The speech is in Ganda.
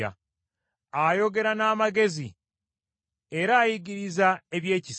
Ayogera n’amagezi, era ayigiriza ebyekisa.